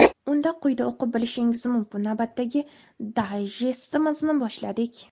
Unda quyida o‘qib bilishingiz mumkin, navbatdagi dayjestimizni boshladik.